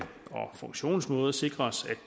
funktionsmåde sikres at